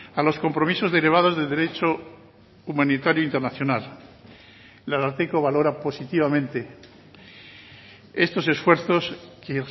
a los compromisos derivados de derecho humanitario internacional el ararteko valora positivamente estos esfuerzos que